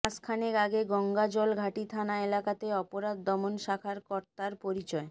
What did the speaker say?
মাসখানেক আগে গঙ্গাজলঘাটি থানা এলাকাতে অপরাধ দমন শাখার কর্তার পরিচয়